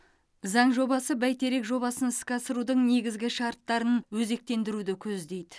заң жобасы бәйтерек жобасын іске асырудың негізгі шарттарын өзектендіруді көздейді